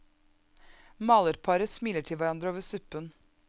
Malerparet smiler til hverandre over suppen.